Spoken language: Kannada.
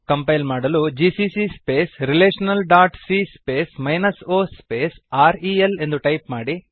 ಕಂಪೈಲ್ ಮಾಡಲು GCC space relational dot C space minus o space R E L ಎಂದು ಟೈಪ್ ಮಾಡಿ